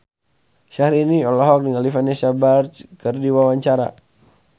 Syahrini olohok ningali Vanessa Branch keur diwawancara